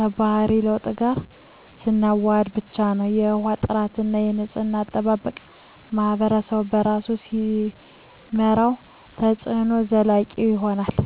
የባህሪ ለውጥ ጋር ስናዋህድ ብቻ ነው። የውሃ ጥራትና የንፅህና አጠባበቅን ማኅበረሰቡ በራሱ ሲመራው፣ ተፅዕኖው ዘላቂ ይሆናል።